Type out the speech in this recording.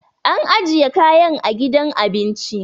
an ajiya kayan a gidan abinci